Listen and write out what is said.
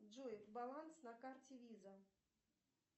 джой баланс на карте виза